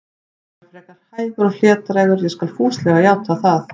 Ég var frekar hægur og hlédrægur, ég skal fúslega játa það.